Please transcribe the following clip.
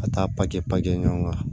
Ka taa kɛ ɲɔgɔn kan